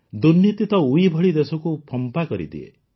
ଦୁର୍ନୀତି ତ ଉଈ ଭଳି ଦେଶକୁ ଫମ୍ପା କରିଦିଏ